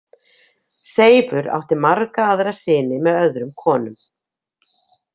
Seifur átti marga aðra syni með öðrum konum.